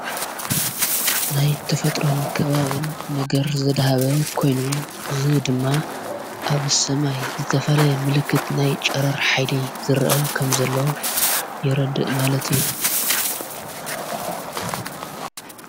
ናይ እተፈጥሮን ከባብን ነገር ዘድሃበ ኾይኑ ዝ ድማ ኣብ ሰማይ ዝተፈለ ምልክት ናይ ጨረር ኃይሊ ዝርአ ከም ዘሎ የረድእ ማለት እዩ።